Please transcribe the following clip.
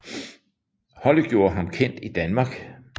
Holdet gjorde ham kendt i Danmark